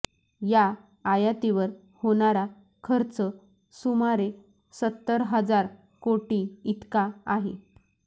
या आयातीवर होणारा खर्च सुमारे सत्तर हजार कोटी इतका आहे